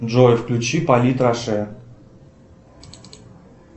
джой включи полит роше